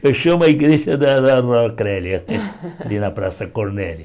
Fechamos a igreja da da rua Crélia, ali na Praça Cornélia.